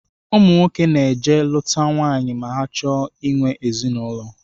Ụmụnwoke na-eje lụta nwaanyị ma ha chọọ ihiwe ezinụlọ